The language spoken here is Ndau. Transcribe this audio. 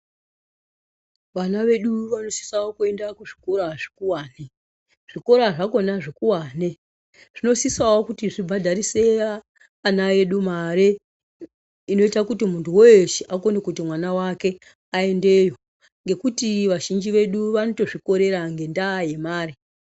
Vana vedu vano sisawo kuenda kuzvikora zvikowane zvikora zvakona zvikowane zvinosisawo kuti zvibhadharise ana edu mare inoita kuti munthu weeshe akone kuti mwana wake aendeyo ngekuti vazhinji vedu vano tozvikorera ngendaa yemare.